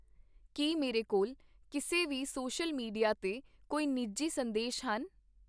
ਕੀ ਮੇਰੇ ਕੋਲ ਕਿਸੇ ਵੀ ਸੋਸ਼ਲ ਮੀਡੀਆ 'ਤੇ ਕੋਈ ਨਿੱਜੀ ਸੰਦੇਸ਼ ਹਨ?